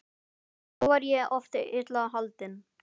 Þá var ég oft illa haldinn.